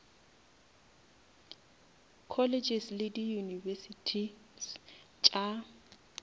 colleges le di univesities tša